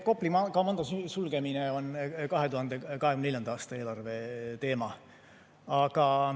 Kopli komando sulgemine on 2024. aasta eelarve teema.